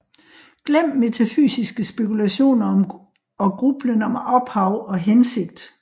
Glem metafysiske spekulationer og grublen om ophav og hensigt